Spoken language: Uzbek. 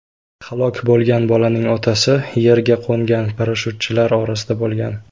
Halok bo‘lgan bolaning otasi yerga qo‘ngan parashyutchilar orasida bo‘lgan.